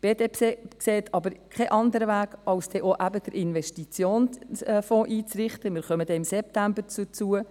Die BDP sieht aber keinen anderen Weg, als eben auch den Investitionsfonds einzurichten – wir kommen dann im September dazu.